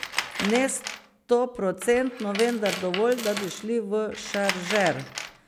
Ne stoprocentno, vendar dovolj, da bi šli v šaržer.